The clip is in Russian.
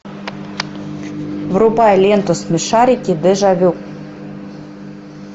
врубай ленту смешарики дежавю